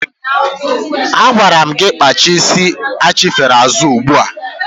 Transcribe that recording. Agwara m gị gaa kpaa isi achifere azụ ugbu a!